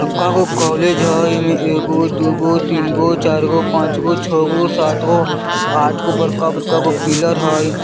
बड़का गो कॉलेज हय इ में एगो दु गो तीन गो चार गो पाँच गो छ गो सात गो आठ गो बड़का-बड़का गो पिलर हय।